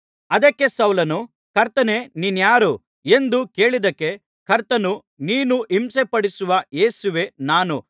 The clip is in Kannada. ಅದಕ್ಕೆ ಸೌಲನು ಕರ್ತನೇ ನೀನಾರು ಎಂದು ಕೇಳಿದ್ದಕ್ಕೆ ಕರ್ತನು ನೀನು ಹಿಂಸೆಪಡಿಸುವ ಯೇಸುವೇ ನಾನು